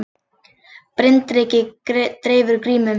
Bryndreki dreifir grímum